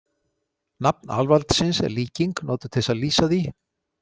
Nafn Alvaldsins er líking, notuð til þess að lýsa því..